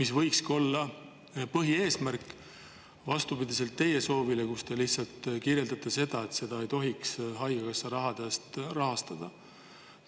See võikski olla põhieesmärk, vastupidiselt teie soovile: te lihtsalt kirjeldate seda, et neid ei tohiks rahastada haigekassa.